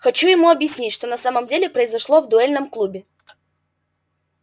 хочу ему объяснить что на самом деле произошло в дуэльном клубе